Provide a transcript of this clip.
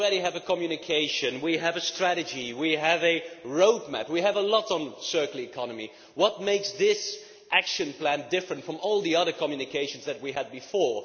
We already have a communication, we have a strategy, we have a roadmap we have a lot on the circular economy. What makes this action plan different from all the other communications that we have had before?